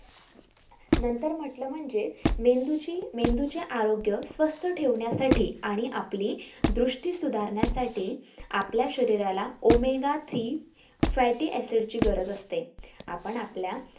नंतर म्हटलं म्हणजे मेंदू ची मेंदूचे आरोग्य स्वास्थ्य आणि आपली दृष्टी सुधारण्या साठी आपल्या शरीराला omega three fatty acid ची गरज असते